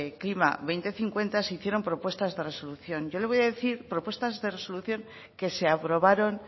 klima dos mil cincuenta se hicieron propuestas de resolución yo le voy a decir propuestas de resolución que se aprobaron